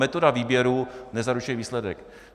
Metoda výběru nezaručuje výsledek.